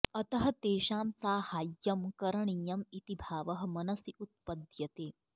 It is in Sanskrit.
अतः तेषां साहाय्यं करणीयम् इति भावः मनसि उत्पद्यते